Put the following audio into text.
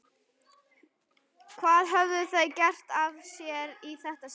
Hvað höfðu þau gert af sér í þetta sinn?